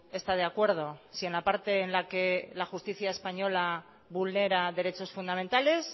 está de acuerdo si en la parte en la que la justicia española vulnera derechos fundamentales